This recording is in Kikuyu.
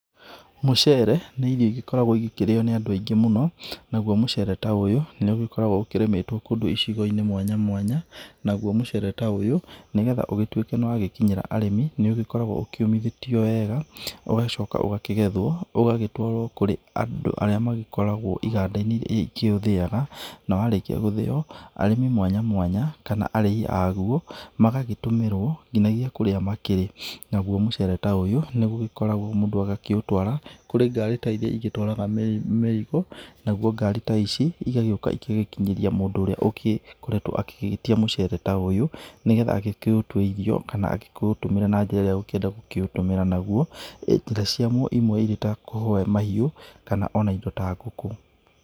Mũcere nĩ irio igĩkoragwo igĩkĩrio nĩ andũ aingĩ mũno. Nagũo mũcere ta ũyũ nĩ ũgĩkoragwo ũkĩrĩmĩtwo kũndũ icigo-inĩ mwanya mwanya. Nagũo mucere ta ũyũ nĩgetha ũgĩtũĩke nĩ wagĩkinyĩra arĩmi. Nĩ ũgĩkoragwo ũkĩũmĩthetio wega, ũgagĩcoka ũgakĩgethwo, ũgagĩtwarwo kũrĩ andũ arĩa magĩkoragwo iganda-inĩ irĩa ikĩũthĩyaga, na warĩkia gũthĩo, arĩmi mwanya mwanya, kana arĩi agũo magagĩtũmĩrwo nginagia kũrĩa makĩrĩ. Nagũo mũcere ta ũyũ nĩ gũgĩkoragwo mũndũ agakĩũtwara kũrĩ ngari ta irĩa igĩtwaraga mĩrĩgo, nagũo ngarĩ ta ici igagĩũka igagĩkinyĩria mũndũ ũrĩa agĩkoretwo agĩgĩtia mũcere ta ũyũ, nĩgetha agĩkĩũtwe irio, kana agĩkĩũtũmĩre na njĩra ĩrĩa agũkĩenda gũkĩũtũmĩra naguo. Njĩra ciaguo ĩmwe irĩ ta kũuhe mahiũ, kana ona indo ta ngũkũ.